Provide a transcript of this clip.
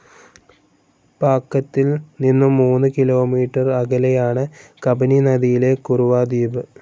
പാക്കത്തിൽ നിന്നും മൂന്ന് കിലോമീറ്റർ അകലെയാണ് കബനി നദിയിലെ കുറുവ ദ്വീപ്.